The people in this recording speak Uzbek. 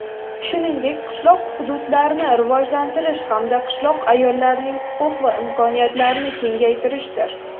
shuningdek qishloq hududlarni rivojlantirish hamda qishloq ayollarining huquq va imkoniyatlarini kengaytirishdir.